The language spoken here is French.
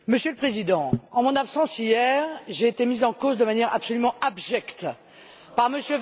Monsieur le Président, en mon absence, hier, j'ai été mise en cause de manière absolument abjecte par M.